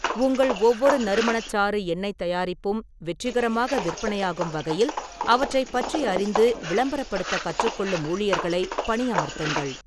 உங்கள் ஒவ்வொரு நறுமணச்சாறு எண்ணெய்த் தயாரிப்பும் வெற்றிகரமாக விற்பனையாகும் வகையில் அவற்றைப் பற்றி அறிந்து விளம்பரப்படுத்தக் கற்றுக்கொள்ளும் ஊழியர்களை பணியமர்த்துங்கள்.